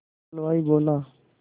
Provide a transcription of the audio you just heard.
हलवाई बोला